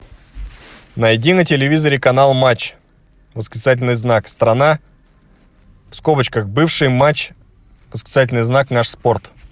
найди на телевизоре канал матч восклицательный знак страна в скобочках бывший матч восклицательный знак наш спорт